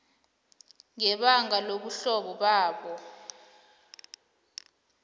ngebanga lobuhlobo babo